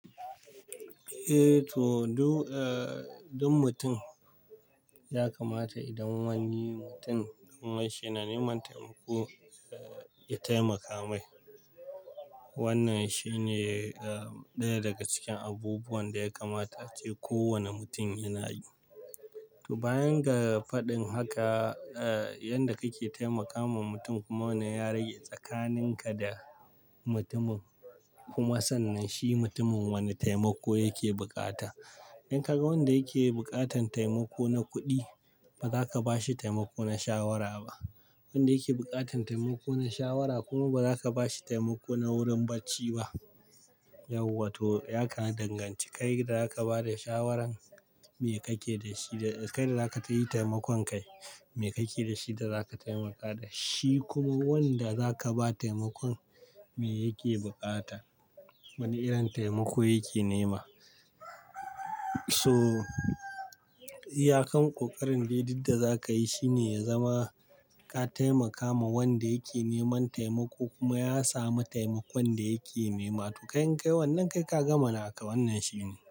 Eh to, duk, eh, duk mutum ya kamata idan wani mutum don washe naniman taimako, eh, ya taimaka mai. Wannan shine, eh, ɗaya daga cikin abubuwan da ya kamata ace kowane mutum yana yi. To bayan ga faɗin haka, eh, yanda kake taimakama mutum kuma wane ya rage tsakaninka da mutumin kuma sannan shi mutumin wane taimako yake buƙata. In ka ga wanda yake buƙatar taimako na kuɗi ba za ka ba shi taimako na shawara ba. Wanda yake buƙatar taimako na shawara kuma ba za ka ba shi taimako na wurin barci ba. Yauwa to ya kana danganci kai da za ka bada shawarar me kake da shi da kai da za ka yi taimakon kai me kake da shi da za ka taimaka da shi kuma wanda za ka ba taimakon me yake buƙata. Wane irin taimako yake nema. So iyakan ƙoƙarin dai duk da za ka yi shine ya zama ka taimaka ma wanda yake neman taimako kuma ya samu taimakon da yake nema. To kai in kayi wannan kai ka gama naka wannan shine.